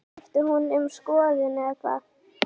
Skipti hún um skoðun eða hvað?